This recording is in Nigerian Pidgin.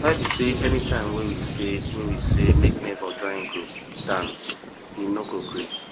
why be say anytime wey we say wey we say make my nebor join group dance he no dey gree